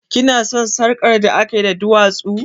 Ki na son sarƙar da akayi da duwatsu?